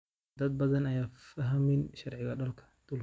Dad badan ayaan fahmin sharciga dalka.